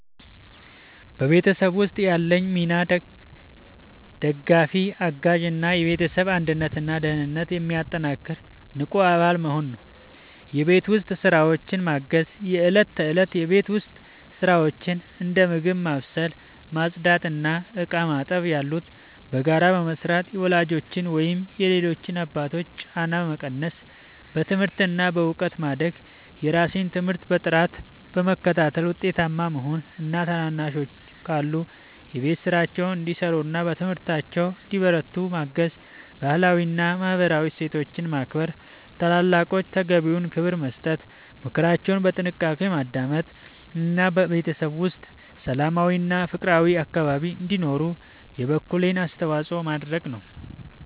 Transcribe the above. በቤተሰብ ውስጥ ያለኝ ሚና ደጋፊ፣ አጋዥ እና የቤተሰብን አንድነትና ደህንነት የሚያጠናክር ንቁ አባል መሆን ነው። የቤት ውስጥ ስራዎችን ማገዝ፦ የእለት ተእለት የቤት ውስጥ ስራዎችን (እንደ ምግብ ማብሰል፣ ማጽዳት እና ዕቃ ማጠብ ያሉ) በጋራ በመስራት የወላጆችን ወይም የሌሎች አባላትን ጫና መቀነስ። በትምህርት እና በእውቀት ማደግ፦ የራሴን ትምህርት በጥራት በመከታተል ውጤታማ መሆን እና ታናናሾች ካሉ የቤት ስራቸውን እንዲሰሩና በትምህርታቸው እንዲበረቱ ማገዝ። ባህላዊ እና ማህበራዊ እሴቶችን ማክበር፦ ለታላላቆች ተገቢውን ክብር መስጠት፣ ምክራቸውን በጥንቃቄ ማዳመጥ እና በቤተሰብ ውስጥ ሰላማዊና ፍቅራዊ አካባቢ እንዲኖር የበኩሌን አስተዋጽኦ ማድረግ።